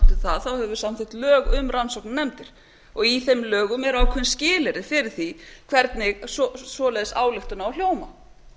það þá höfum við samþykkt um lög um rannsóknarnefndir og í þeim lögum eru ákveðin skilyrði fyrir því hvernig slík ályktun á að hljóma